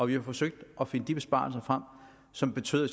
vi har forsøgt at finde de besparelser frem som betyder